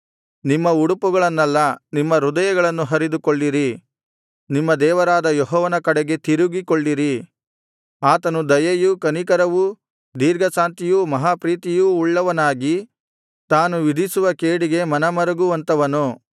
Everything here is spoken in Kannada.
ನಿಮ್ಮ ಉಡುಪುಗಳನ್ನಲ್ಲ ನಿಮ್ಮ ಹೃದಯಗಳನ್ನು ಹರಿದುಕೊಳ್ಳಿರಿ ನಿಮ್ಮ ದೇವರಾದ ಯೆಹೋವನ ಕಡೆಗೆ ತಿರುಗಿಕೊಳ್ಳಿರಿ ಆತನು ದಯೆಯೂ ಕನಿಕರವೂ ದೀರ್ಘಶಾಂತಿಯೂ ಮಹಾಪ್ರೀತಿಯೂ ಉಳ್ಳವನಾಗಿ ತಾನು ವಿಧಿಸುವ ಕೇಡಿಗೆ ಮನಮರುಗುವಂಥವನು